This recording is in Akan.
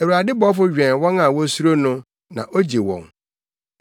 Awurade bɔfo wɛn wɔn a wosuro no, na ogye wɔn.